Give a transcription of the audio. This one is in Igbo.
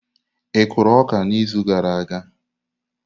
Ị kụrụ ọka n'izu gara aga?